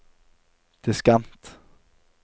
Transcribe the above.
diskant